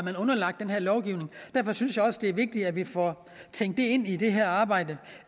er underlagt den her lovgivning derfor synes jeg også det er vigtigt at vi får tænkt det ind i det her arbejde